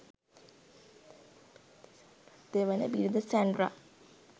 දෙවන බිරිඳ සැන්ඩ්‍රා